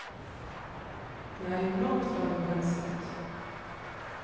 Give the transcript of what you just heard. Det er jo langt fra vår hensikt.